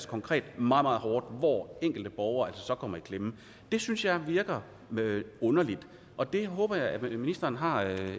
konkret meget meget hårdt hvor enkelte borgere så kommer i klemme det synes jeg virker underligt og det håber jeg ministeren har